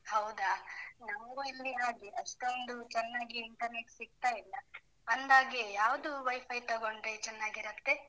ಹೌದಾ? ನಮ್ಗೂ ಇಲ್ಲಿ ಹಾಗೇ, ಅಷ್ಟೊಂದು ಚೆನ್ನಾಗಿ internet ಸಿಗ್ತಾ ಇಲ್ಲ, ಅಂದಾಗೆ ಯಾವ್ದು Wi-Fi ತಗೊಂಡ್ರೆ ಚನ್ನಾಗಿರುತ್ತೆ?